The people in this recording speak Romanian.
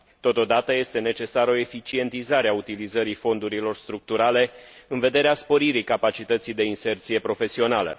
Totodată, este necesară o eficientizare a utilizării fondurilor structurale în vederea sporirii capacității de inserție profesională.